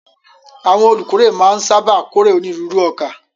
Àwọn olùkórè máa ń sáábà kórè onírúurú ọkà.